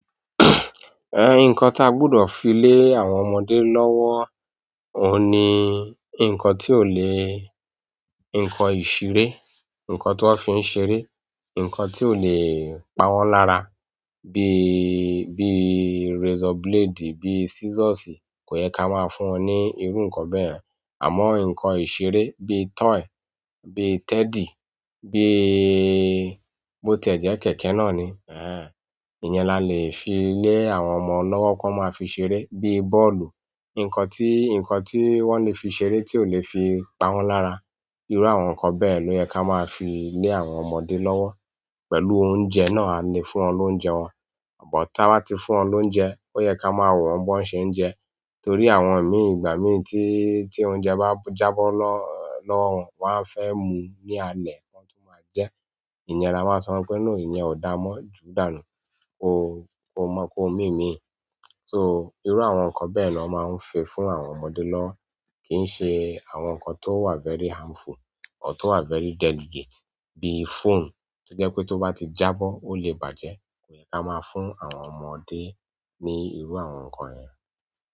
Ẹn, nǹkan tí a gbudọ̀ fi lé àwọn ọmọdé lọ́wọ́, òun ni nǹkan tí ò lè, nǹkan ìṣeré, nǹkan tó fi ń ṣeré, nǹkan tí ò lè pa wọ́n lára bí, bí razor blade, bí scissors kò yẹ ká máa fún wọn ní irú nǹkan bẹ́ẹ̀. Àmọ́, nǹkan ìṣeré bí toy, bí teddy, bí bó ti ẹ̀ jẹ́ kẹ̀kẹ́ náà ni, ehen. Ìyẹn la lè fi lé àwọn ọmọ lọ́wọ́ kí wọ́n máa fi ṣeré bí bọ́ọ̀lù. Nǹkan tí, nǹkan tí wọ́n lè fi ṣere tí ò lè fi pa wọ́n lára. Irú àwọn nǹkan bẹ́ẹ̀ ló yẹ́ ká máa fi lé àwọn ọmọdé lọ́wọ́. Pẹ̀lú oúnjẹ náà ni fún wọn lóúnjẹ wọn. But táa bá ti fún wọn lóúnjẹ, ó yẹ ká máa wọ́n woń bo ṣe ń jẹ. Torí àwọn mi ìgbà mí tí, tí oúnjẹ bá jábọ́ lọ́, lọ́wọ́, wọ́n á fẹ́ mu ní alẹ́ wọn tó máa jẹ. Ìyẹn la máa sọ wípé no ìyẹn ò dáa mọ́ jù dànù. Ó, ó mọ́ kó mími. So, irú àwọn nǹkan bẹ́ẹ̀ ló máa ń fẹ fún àwọn ọmọdé lọ́wọ́. Kì ń ṣe àwọn nǹkan tó wà very harmful ọ̀tọ́ wà very delegate bí phone to jẹ́ pé tó bá ti jábọ́ ó lè bàjẹ́, kò yẹ ká máa fún àwọn ọmọdé ní irú àwọn nǹkan yẹ̀n.